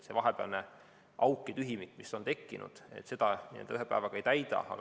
Seda vahepealset auku ja tühimikku, mis on tekkinud, ühe päevaga ei täida.